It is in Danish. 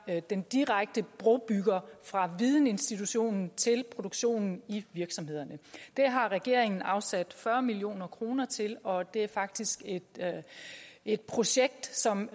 være den direkte brobygger fra vidensinstitutionen til produktionen i virksomhederne det har regeringen afsat fyrre million kroner til og det er faktisk et et projekt som